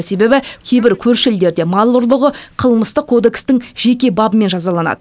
себебі кейбір көрші елдерде мал ұрлығы қылмыстық кодекстің жеке бабымен жазаланады